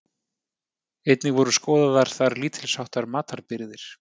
Einnig voru skoðaðar þar lítils háttar matarbirgðir.